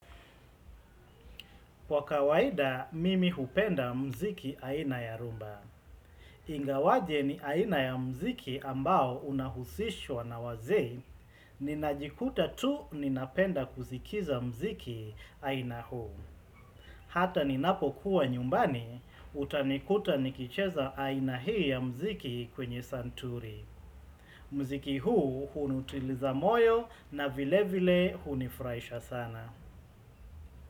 Kwa kawaida, mimi hupenda mziki aina ya rumba. Ingawaje ni aina ya mziki ambao unahusishwa na wazee, ninajikuta tu ninapenda kuzikiza mziki aina hu. Hata ninapo kuwa nyumbani, utanikuta nikicheza aina hii ya mziki kwenye santuri. Mziki huu hunutiliza moyo na vile vile hunifraisha sana.